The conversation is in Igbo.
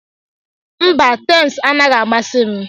Mba, Tems anaghị amasị m.